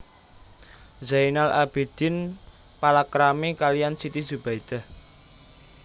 Zainal Abidin palakrami kaliyan Siti Zubaidah